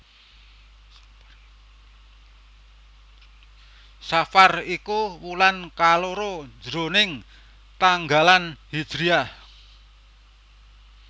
Safar iku wulan kaloro jroning tanggalan hijriyah